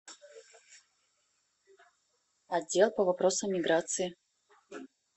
отдел по вопросам миграции